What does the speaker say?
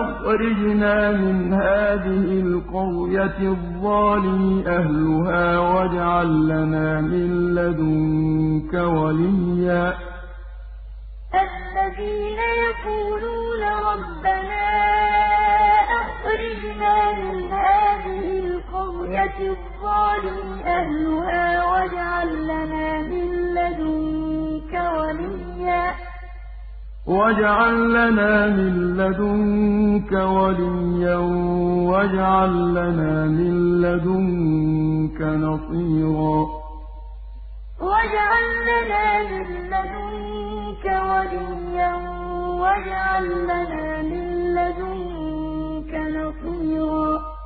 أَخْرِجْنَا مِنْ هَٰذِهِ الْقَرْيَةِ الظَّالِمِ أَهْلُهَا وَاجْعَل لَّنَا مِن لَّدُنكَ وَلِيًّا وَاجْعَل لَّنَا مِن لَّدُنكَ نَصِيرًا وَمَا لَكُمْ لَا تُقَاتِلُونَ فِي سَبِيلِ اللَّهِ وَالْمُسْتَضْعَفِينَ مِنَ الرِّجَالِ وَالنِّسَاءِ وَالْوِلْدَانِ الَّذِينَ يَقُولُونَ رَبَّنَا أَخْرِجْنَا مِنْ هَٰذِهِ الْقَرْيَةِ الظَّالِمِ أَهْلُهَا وَاجْعَل لَّنَا مِن لَّدُنكَ وَلِيًّا وَاجْعَل لَّنَا مِن لَّدُنكَ نَصِيرًا